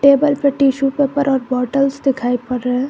table पर tissue paper और bottles दिखाई पड़ रहा--